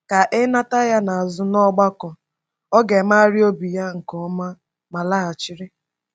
Ka e nata ya azụ n’ọgbakọ, ọ ga-emegharị obi ya nke ọma ma laghachiri.